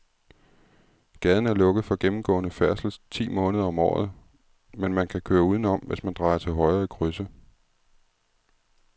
Gaden er lukket for gennemgående færdsel ti måneder om året, men man kan køre udenom, hvis man drejer til højre i krydset.